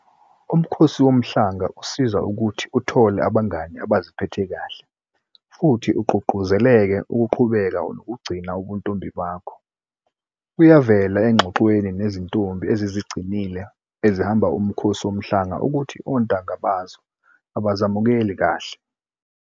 UMkhosi Womhlanga usiza ukuthi uthole abangani abaziphethe kahle futhi ugqugquzeleke ukuqhubeka nokugcina ubuntombi bakho. Kuyavela engxoxweni nezintombi ezizigcinile ezihamba uMkhosi Womhlanga ukuthi ontanga bazo abazemukeli kahle.